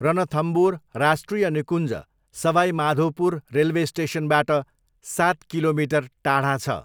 रनथम्बोर राष्ट्रिय निकुञ्ज सवाई माधोपुर रेलवे स्टेसनबाट सात किलोमिटर टाढा छ।